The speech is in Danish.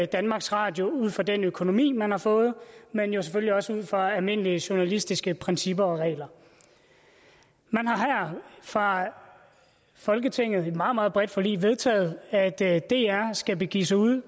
danmarks radio ud fra den økonomi man har fået men jo selvfølgelig også ud fra almindelige journalistiske principper og regler man har her fra folketingets side i et meget meget bredt forlig vedtaget at dr dr skal begive sig ud